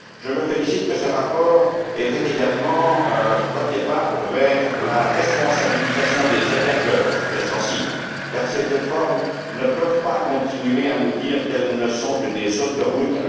Je me félicite que ce rapport ait fait également un premier pas vers la responsabilisation des hébergeurs, sujet sensible, car ces plates formes ne peuvent pas continuer à nous dire qu'elles ne sont que des autoroutes.